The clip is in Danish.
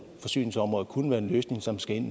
forsyningsområder kunne være en løsning som skal ind